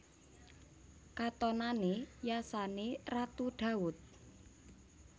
Katonané yasané Ratu Dawud